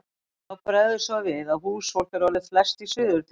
En þá bregður svo við að húsfólk er orðið flest í Suður-Þingeyjarsýslu.